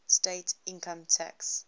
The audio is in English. state income tax